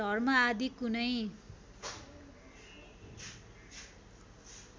धर्म आदि कुनै